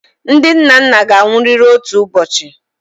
Ndị nnanna ga-anwụrịrị otu ụbọchị.